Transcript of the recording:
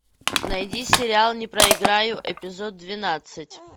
найди сериал не проиграю эпизод двенадцать